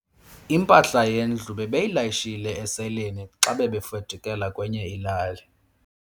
Impahla yendlu bebeyilayishe esileyini xa bebefudukela kwenye ilali.